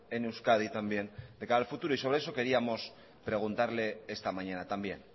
en euskadi también de cara al futuro y sobre eso queríamos preguntarle esta mañana también